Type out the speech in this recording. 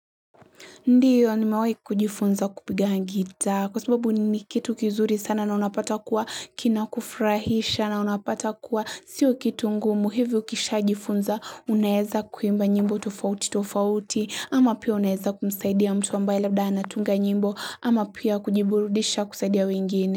Ndiyo nimewahi kujifunza kupiga gitaa kwa sababu ni kitu kizuri sana na unapata kuwa kina kufurahisha na unapata kuwa sio kitu ngumu hivyo kisha jifunza unaeza kuimba nyimbo tofauti tofauti ama pia unaeza kumsaidia mtu ambaye labda anatunga nyimbo ama pia kujiburudisha kusaidia wengine.